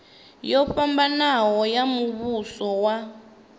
yo fhambanaho ya muvhuso wa